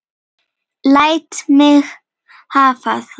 Læt mig hafa það!